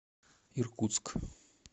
иркутск